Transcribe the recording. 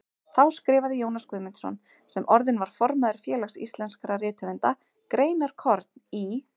Þá skrifaði Jónas Guðmundsson, sem orðinn var formaður Félags íslenskra rithöfunda, greinarkorn í